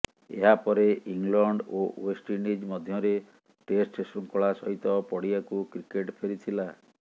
ଏହା ପରେ ଇଂଲଣ୍ଡ ଓ ଓ୍ବେଷ୍ଟଇଣ୍ଡିଜ ମଧ୍ୟରେ ଟେଷ୍ଟ ଶୃଙ୍ଖଳା ସହିତ ପଡିଆକୁ କ୍ରିକେଟ୍ ଫେରିଥିଲା